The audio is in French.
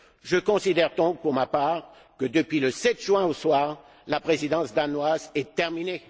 Je considère donc pour ma part que, depuis le 7 juin au soir, la Présidence danoise est terminée.